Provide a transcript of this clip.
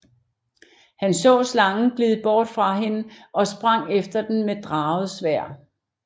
Han så slangen glide bort fra hende og sprang efter den med draget sværd